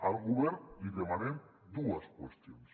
al govern li demanem dues qüestions